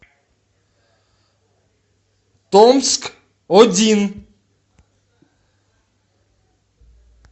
томск один